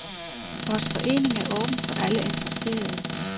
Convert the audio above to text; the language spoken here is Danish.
Vores forening er åben for alle interesserede.